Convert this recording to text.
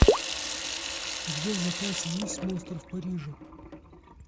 у тебя в запасе есть монстр в париже